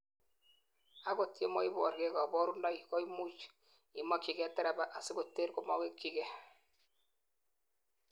akot yemoiborkei kaborunoik koimuch imokyigei therapy asikoter komawekyinkei